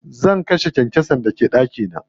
Zan kashe kyankyasan da ke ɗaki na.